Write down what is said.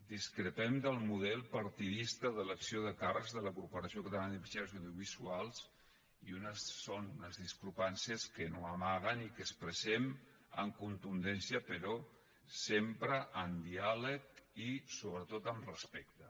discrepem del model partidista d’elecció de càrrecs de la corporació catalana de mitjans audiovisuals i són unes discrepàncies que no amaguem i que expressem amb contundència però sempre amb diàleg i sobretot amb respecte